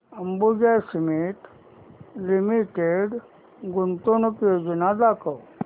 Ambuja cement limited गुंतवणूक योजना दाखव